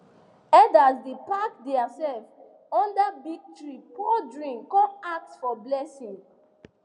elders dey pack theirself under big tree pour drink con ask for blessing